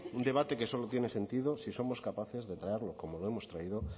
un debate que solo tiene sentido si somos capaces de traerlo como lo hemos traído